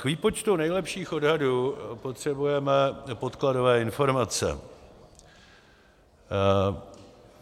K výpočtu nejlepších odhadů potřebujeme podkladové informace.